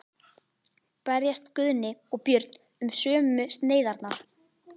Berjast Guðni og Björn um sömu sneiðarnar?